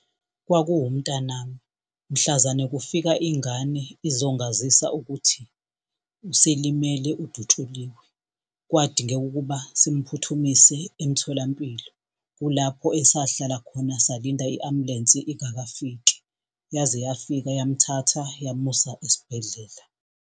Kwakuwumntanami mhlazane kufika ingane izongazisa ukuthi uselimele udutshuliwe, kwadingeka ukuba simphuthumise emtholampilo. Kulapho esahlala khona salinda i-ambulensi ingakafiki. Yaze yafika yamthatha yamusa esibhedlela.